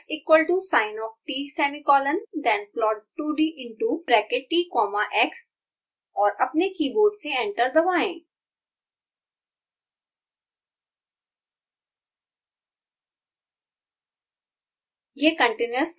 फिर x equal to sin of t semicolon then plot 2d into bracket t comma x और अपने keyboard से enter दबाएँ